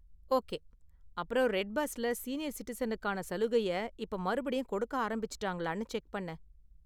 Okay, அப்புறம் red பஸ்ல senior சிட்டிசனுக்கான சலுகைய இப்ப மறுபடியும் கொடுக்க ஆரம்பிச்சுட்டாங்களானு செக் பண்ணு.